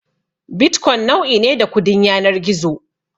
Bitcoin nau'i ne da kudin yanar gizo.